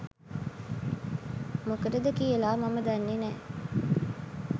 මොකටද කියලා මම දන්නේ නෑ.